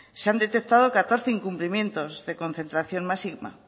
se han detectado catorce incumplimientos de concentración máxima